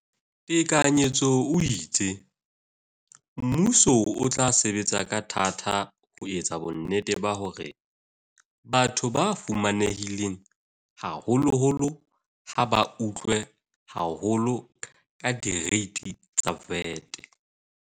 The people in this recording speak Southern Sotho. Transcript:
Tekanyetso o itse, mmuso o tla sebetsa ka thata ho etsa bonnete ba hore batho ba fumanehileng haholoholo ha ba otlwe haholo ke direiti tsa VAT.